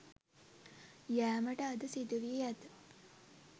යෑමට අද සිදු වී ඇත.